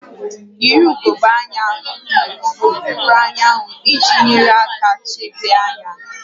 Yiri ugogbe anya n'okpuru anyanwụ iji nyere aka chebe anya